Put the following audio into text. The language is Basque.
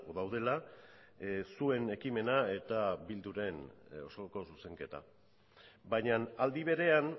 daudela zuen ekimena eta bilduren osoko zuzenketa baina aldi berean